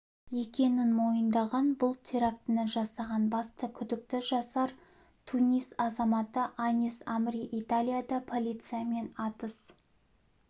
екенін мойындаған бұл терактіні жасаған басты күдікті жасар тунис азаматы анис амри италияда полициямен атыс